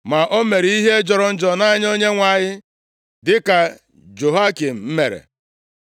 Ma o mere ihe jọrọ njọ nʼanya Onyenwe anyị dịka Jehoiakim mere. + 24:19 \+xt 2Ih 36:12\+xt*